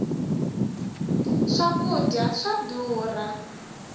swa kudya swa durha